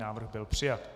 Návrh byl přijat.